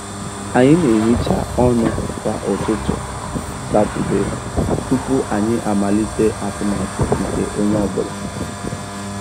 Anyị na-ehicha ọnụ kwa ụtụtụ Satọde tupu anyị amalite atụmatụ nke onye ọ bụla